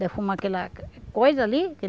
Defuma aquela coisa ali.